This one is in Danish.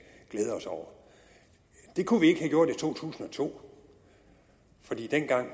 glæde os over det kunne vi ikke have gjort i to tusind og to for dengang